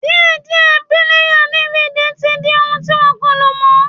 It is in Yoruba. Díẹ̀díẹ̀ píléyà DVD tí n di ohun ti wọ́n kò lò mọ́